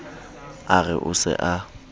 a re o se a